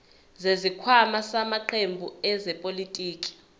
zesikhwama samaqembu ezepolitiki